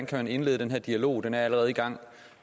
kan man indlede den her dialog koalitionen er allerede i gang og